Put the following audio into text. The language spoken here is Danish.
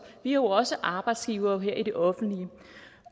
jo også arbejdsgivere her i det offentlige